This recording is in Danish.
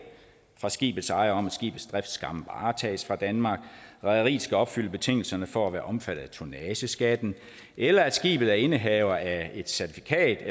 fra skibets ejer om at skibets drift skam varetages fra danmark at rederiet skal opfylde betingelserne for at være omfattet af tonnageskatten eller at skibet er indehaver af certifikatet